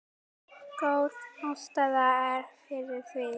Góð ástæða er fyrir því.